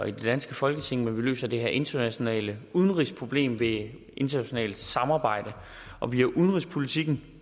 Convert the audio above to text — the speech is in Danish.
i det danske folketing men at vi løser det her internationale udenrigsproblem via internationalt samarbejde og via udenrigspolitikken